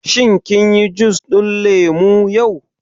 Shin kin yi jus ɗin lemu yau?